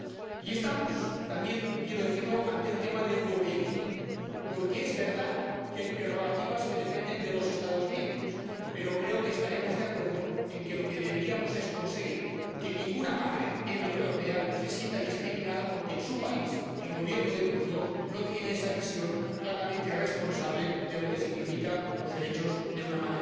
Y estamos, también quiero decirlo, ante un tema de europeísmo, porque es verdad que hay prerrogativas que dependen de los Estados miembros, pero creo que estaremos de acuerdo en que deberíamos conseguir que ninguna madre en la Unión Europea se sienta discriminada porque en su país el gobierno de turno no tiene esa visión claramente responsable de lo que significan los derechos de una madre trabajadora.